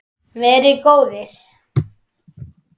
Verið góðir!